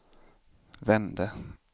vände